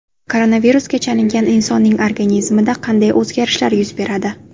Koronavirusga chalingan insonning organizmida qanday o‘zgarishlar yuz beradi?.